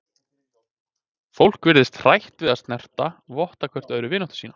Fólk virðist hrætt við að snertast, votta hvert öðru vináttu sína.